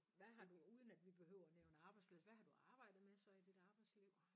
Hvad har du uden at vi behøver nævne arbejdsplads hvad har du arbejdet med så i dit arbejdsliv?